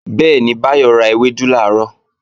Bẹ́ẹ̀ni, Báyọ̀ ra ewédú làárọ̀